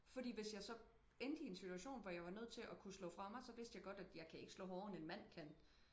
Fordi hvis jeg så endte i en situation hvor jeg var nødt til at kunne slå fra mig så vidste jeg godt at jeg kan ikke slå hårdere end en mand kan